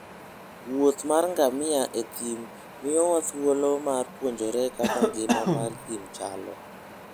wuoth mar ngamia e thim miyowa thuolo mar puonjore kaka ngima mar thim chalo.